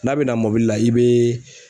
N'a bɛ na mɔbili la i bee